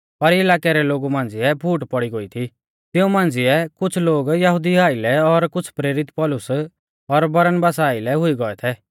पर इलाकै रै लोगु मांझ़िऐ फूट पौड़ी गोई थी तिऊं मांझ़िऐ कुछ़ लोग यहुदिऊ आइलै और कुछ़ प्रेरित पौलुस और बरनबासा आइलै हुई गौऐ थै